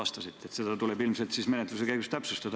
Ilmselt tuleb seda menetluse käigus täpsustada.